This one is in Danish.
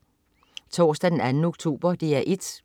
Torsdag den 2. oktober - DR 1: